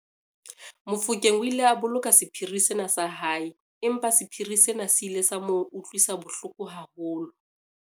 Mofokeng o ile a boloka sephiri sena sa hae empa sephiri sena se ile sa mo utlwisa bohloko haholo.